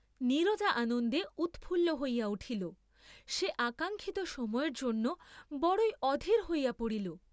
নীরজা আনন্দে উৎফুল্ল হইয়া উঠিল, সে আকাঙ্ক্ষিত সময়ের জন্য বড়ই অধীর হইয়া পড়িল।